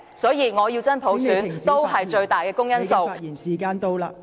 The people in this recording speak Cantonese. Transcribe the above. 所以，我要真普選，也是最大的公因數......